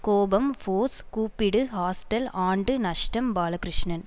கோபம் ஃபோர்ஸ் கூப்பிடு ஹாஸ்டல் ஆண்டு நஷ்டம் பாலகிருஷ்ணன்